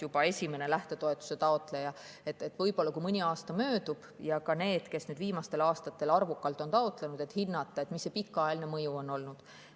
Võib-olla, kui mõni aasta möödub ja kuna nüüd viimastel aastatel on arvukalt taotletud, hinnata, mis see pikaajaline mõju on olnud.